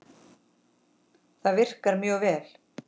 Það virkar mjög vel.